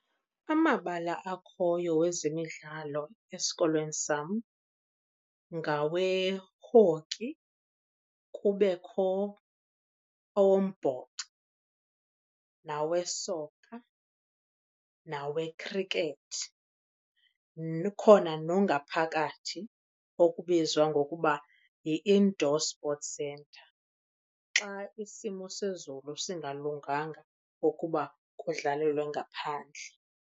Amabala akhoyo wezemidlalo esikolweni sam ngawe-hockey, kubekho awombhoxo, nawe-soccer, nawe-cricket. Kukhona nongaphakathi okubizwa ngokuba yi-indoor sport centre, xa isimo sezulu singalunganga ukuba kudlalelwe ngaphandle.